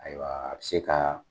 Ayiwa a bi se ka